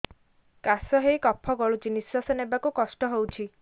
କାଶ ହେଇ କଫ ଗଳୁଛି ନିଶ୍ୱାସ ନେବାକୁ କଷ୍ଟ ହଉଛି